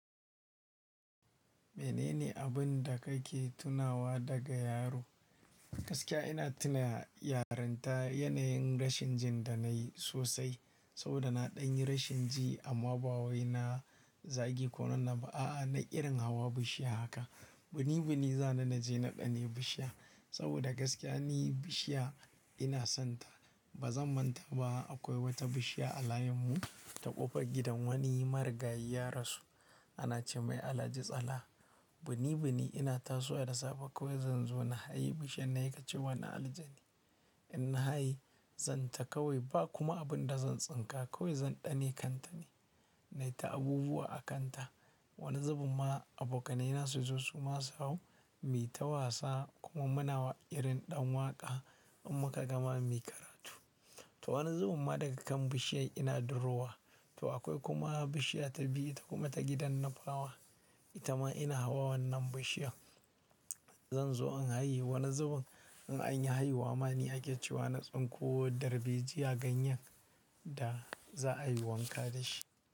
Menene abun da kake tunawa daga yaro? Gaskiya ina tuna yaronta yanayin rashin jin da nayi sosai saboda na ɗan yi rashin ji amma ba wai na zagi ko wannan ba. A'a, na irin hawa bishiya haka. Bini bini zani na je na ɗane bishiya saboda gaskiya ni bishiya ina sonta. Ba zan manta ba akwai wata bishiya a layinmu ta ƙofar gidan wani marigayi ya rasu. Ana ce mai Alhaji tsalha. Bini bini ina tasowa da safe kawai zan zo na hayi bishiyar nan sai ƙace wa na aljani. In na hayi zan taka wai ba kuma abin da zan tsinka kawai zan ɗane kantane. Naita abubuwa a kanta. Wani zubun ma abokanai na su zo su ma sau hau. Mu yi ta wasa kuma muna irin ɗan waƙa in muka gama mu yi karatu. To wani zubun ma daga kan bishiyar ina durowa. To akwai kuma bishiya ta biyu ita kuma ta gidan na fawa. Ita ma ina hawa wannan bishiyar. Zan zo in haye wani zubun in anyi haihuwa ma ni ake cewa na tsinko darbejiya ganyen da za'a yi wanka dashi.